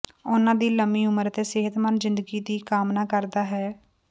ਉਨ੍ਹਾਂ ਦੀ ਲੰਬੀ ਉਮਰ ਅਤੇ ਸਿਹਤਮੰਦ ਜ਼ਿੰਦਗੀ ਦੀ ਕਾਮਨਾ ਕਰਦਾ ਹਾਂ